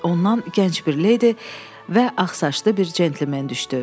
Ondan gənc bir leydi və ağsaçlı bir centlmen düşdü.